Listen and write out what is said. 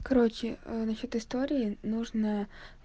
короче насчёт истории нужно